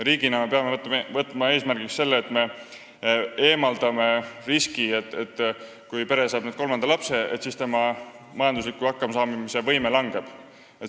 Riigina me peame võtma eesmärgiks selle, et me eemaldame riski, et kui pere saab kolmanda lapse, siis langeb tema majandusliku hakkamasaamise võime.